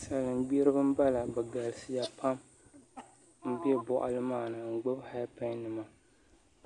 Salin gbiribi n bala bi galisiya pam n bɛ boɣali maa ni n gbubi heed pai nima